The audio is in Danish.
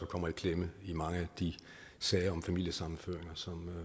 kommer i klemme i mange af de sager om familiesammenføring som